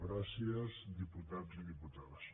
gràcies diputats i diputades